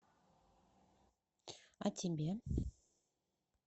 а тебе